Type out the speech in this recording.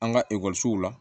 An ka ekɔlisow la